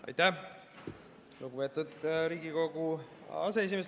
Aitäh, lugupeetud Riigikogu aseesimees!